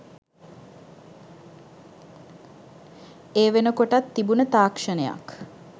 ඒ වෙනකොටත් තිබුන තාක්ෂණයක්.